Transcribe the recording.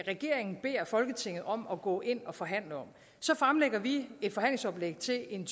regeringen beder folketinget om at gå ind og forhandle så fremlægger vi et forhandlingsoplæg til en